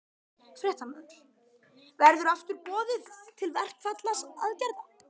Fréttamaður: Verður aftur boðað til verkfallsaðgerða?